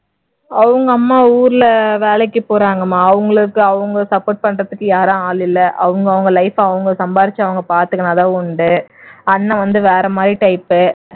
அவங்க அம்மா ஊர்ல வேலைக்கு போறாங்கம்மா. அவங்களுக்கு அவங்க support பண்றதுக்கு யாரும் ஆள் இல்ல. அவங்க அவ்ங்க life அவங்க சம்பாதிச்சு அவங்க பாத்துக்கிட்டாதான் உண்டு. அண்ணா வந்து வேற மாதிரி type